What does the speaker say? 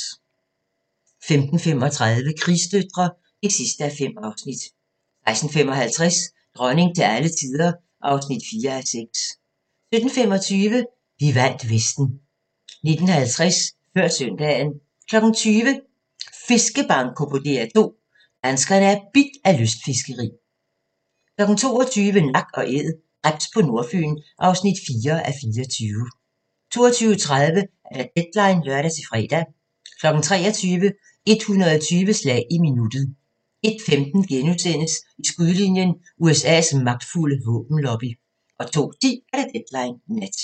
15:35: Krigsdøtre (5:5) 16:55: Dronning til alle tider (4:6) 17:25: Vi vandt Vesten 19:50: Før søndagen 20:00: Fiskebanko på DR2: Danskerne er bidt af lystfiskeri 22:00: Nak & æd – krebs på Nordfyn (4:24) 22:30: Deadline (lør-fre) 23:00: 120 slag i minuttet 01:15: I skudlinjen: USA's magtfulde våbenlobby * 02:10: Deadline Nat